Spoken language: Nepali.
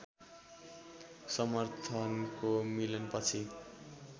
समर्थनको मिलन पछि